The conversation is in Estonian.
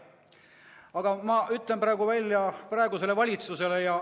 Aga ma ütlen praegu selle välja valitsusele.